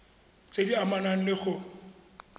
tse di amanang le go